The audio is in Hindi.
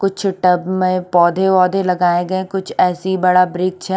कुछ टब में पोधे वोधे लगाये गये है कुछ ऐसे ही बड़ा ब्रीच है ।